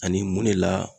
Ani mun de la